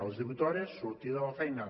a les divuit hores sortida de la feina